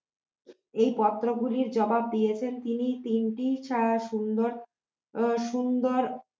এই পত্র গুলির জবাব দিয়েছেন তিনি তিনটি সুন্দর আহ সুন্দর